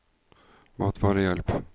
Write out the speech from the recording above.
matvarehjelp